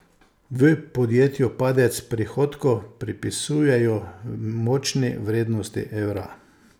V podjetju padec prihodkov pripisujejo močni vrednosti evra.